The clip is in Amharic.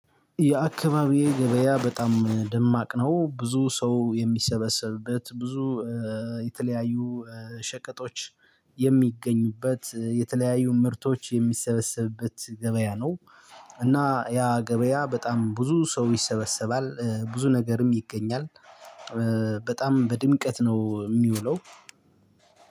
የአካባቢዬ ገበያ በጣም ደማቅ ነው ብዙ ሰው የሚሰበሰብበት ብዙ የተለያዩ ሸቀጦች የሚገኙበት የተለያዩ ምርቶች የሚሰበሰብበት ገበያ ነው። እና ያ ገበያ በጣም ብዙ ሰው ይሰበሰባል ብዙ ነገርም ይገኛል። በጣም በድምቀት ነው የሚውለው።